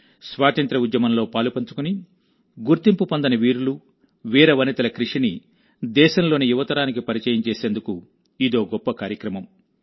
స్వాతంత్య్ర ఉద్యమంలో పాలుపంచుకుని గుర్తింపు పొందని వీరులు వీరవనితల కృషిని దేశంలోని యువ తరానికి పరిచయం చేసేందుకు ఇదో గొప్ప కార్యక్రమం